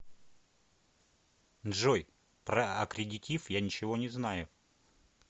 джой про аккредитив я ничего не знаю